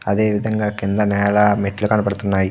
అదేవిధంగా కింద నేల మెట్లు కనపడుతున్నాయి.